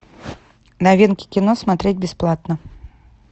новинки кино смотреть бесплатно